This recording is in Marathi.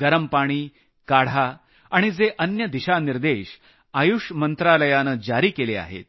गरम पाणी काढा आणि जे अन्य दिशानिर्देश आयुष मंत्रालयानं जारी केले आहेत